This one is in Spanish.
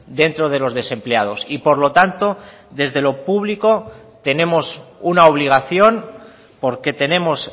dentro de los desempleados y por lo tanto desde lo público tenemos una obligación porque tenemos